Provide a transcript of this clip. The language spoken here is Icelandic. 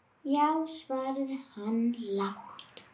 Já, svaraði hann lágt.